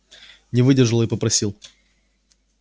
не выдержал и попросил